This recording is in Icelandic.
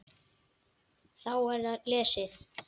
Þá er lesið